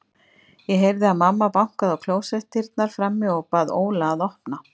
Ég heyrði að mamma bankaði á klósettdyrnar frammi og bað Óla að opna.